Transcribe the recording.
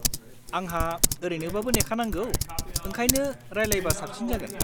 आंहा ओरैनोबाबो नेखानांगौ, ओंखायनो रायलायबा साबसिन जागोन।